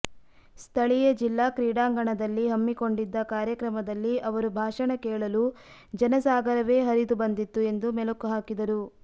ಸ್ಥಳೀಯ ಜಿಲ್ಲಾ ಕ್ರೀಡಾಂಗಣದಲ್ಲಿ ಹಮ್ಮಿಕೊಂಡಿದ್ದ ಕಾರ್ಯಕ್ರಮದಲ್ಲಿ ಅವರು ಭಾಷಣ ಕೇಳಲು ಜನಸಾಗರವೇ ಹರಿದು ಬಂದಿತ್ತು ಎಂದು ಮೆಲುಕು ಹಾಕಿದರು